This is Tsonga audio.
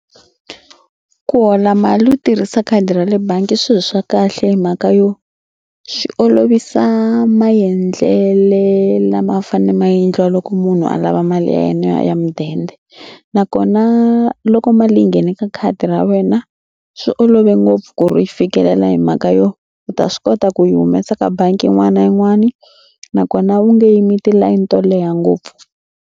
Ku hola mali u tirhisa khadi ra le bangi i swilo swa kahle hi mhaka yo swi olovisa maendlele lama fane maendliwa loko munhu a lava mali ya yena ya mudende nakona loko mali leyi nghene ka khadi ra wena swi olove ngopfu ku ri fikelela hi mhaka yo u ta swi kota ku yi humesa ka bangi yin'wani na yin'wani nakona u nge yimi tilayini to leha ngopfu.